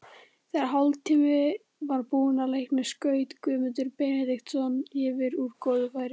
Þegar hálftími var búinn af leiknum skaut Guðmundur Benediktsson yfir úr góðu færi.